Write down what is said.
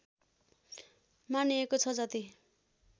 मानिएको छ जति